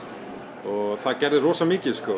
og það gerði rosa mikið